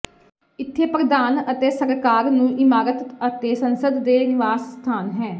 ਇੱਥੇ ਪ੍ਰਧਾਨ ਅਤੇ ਸਰਕਾਰ ਨੂੰ ਇਮਾਰਤ ਅਤੇ ਸੰਸਦ ਦੇ ਨਿਵਾਸ ਸਥਾਨ ਹੈ